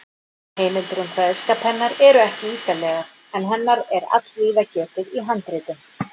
Heimildir um kveðskap hennar eru ekki ítarlegar, en hennar er allvíða getið í handritum.